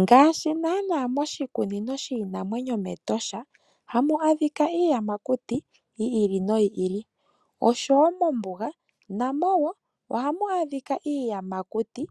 Ngaashi naana moshikunino shiinamwenyo metosha hamu adhika iinamwenyo yiili noyiili oshowo mombuga hamu adhikwa iiyamakuti